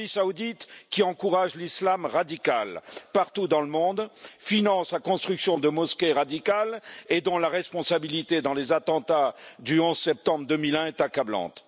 L'Arabie Saoudite, qui encourage l'islam radical partout dans le monde et finance la construction de mosquées radicales et dont la responsabilité dans les attentats du 11 septembre 2001 est accablante.